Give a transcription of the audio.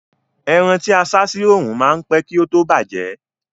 Ẹran tí a sá sí oòrùn ma ń pẹ́ kí ó tó bàjẹ́